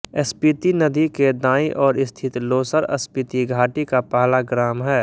स्पीति नदी के दाईं ओर स्थित लोसर स्पीति घाटी का पहला ग्राम है